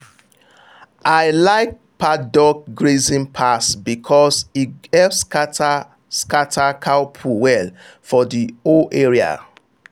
i like paddock grazing pass because e help scatter scatter cow poo well for the whole area.